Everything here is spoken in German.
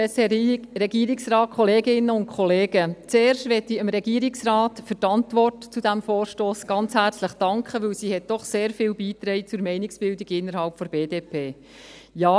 Zuerst möchte ich dem Regierungsrat für die Antwort zu diesem Vorstoss ganz herzlich danken, denn sie trug doch sehr viel zur Meinungsbildung innerhalb der BDP bei.